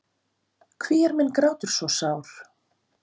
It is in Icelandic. Hví er minn grátur svo sár?